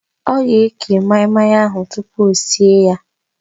Ọ ga-eke maị-maị ahụ tupu o sie ya